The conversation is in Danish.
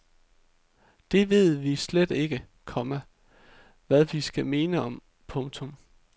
Det ved vi slet ikke, komma hvad vi skal mene om. punktum